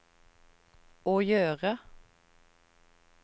å gjøre